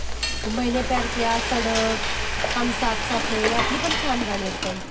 मैने प्यार किया, सडक, हम साथ साथ हैं ह्यातली पण छान गाणी आहेत पण.